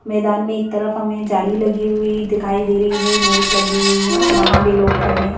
मैदान में एक तरफ हमें जाली लगी हुई दिखाई दे रही है नेट लगी हुई है वहां भी लोग खड़े हैं।